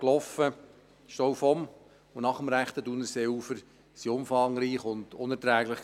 Die Staus vom und nach dem rechten Thunerseeufer waren umfangreich und unerträglich.